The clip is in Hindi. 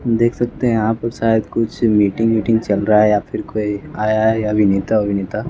देख सकते हैं यहाँ पर शायद कुछ मीटिंग मीटिंग चल रहा है या फिर कोई आया है अभिनेता वभिनेता --